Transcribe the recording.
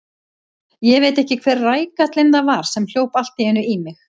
Ég veit ekki hver rækallinn það var sem hljóp allt í einu í mig.